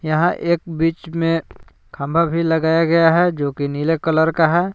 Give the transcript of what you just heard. यहां एक बीच में खंभा भी लगाया गया है जो की नीले कलर का है।